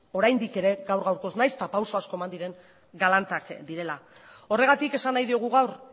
oraindik ere gaur gaurkoz nahiz eta pauso asko eman diren galantak direla horregatik esan nahi diogu gaur